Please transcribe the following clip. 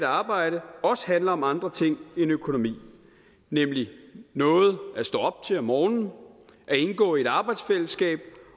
arbejde også handler om andre ting end økonomi nemlig noget at stå op til om morgenen at indgå i et arbejdsfællesskab